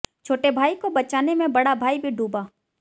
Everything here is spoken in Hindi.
छोटे भाई को बचाने में बड़ा भाई भी डूबा